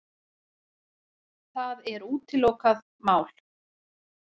Það er útilokað mál.